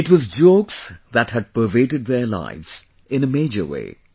It was jokes that had pervaded their lives, in a major way